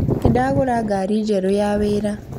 Nĩndagũra ngari njerũ ya wĩra